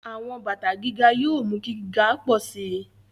Àwọn bàtà gíga yóò mú kí gíga pọ̀ sí i.